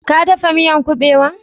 Ka daffa miyan kubewan?